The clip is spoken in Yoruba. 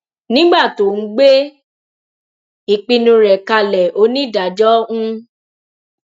nígbà tó ń gbé ìpinnu rẹ kalẹ onídàájọ ń